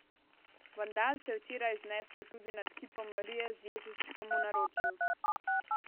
Vandal se je včeraj znesel tudi nad kipom Marije z Jezuščkom v naročju.